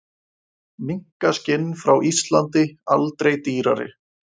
Minkaskinn frá Íslandi aldrei dýrari